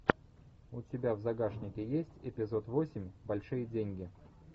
у тебя в загашнике есть эпизод восемь большие деньги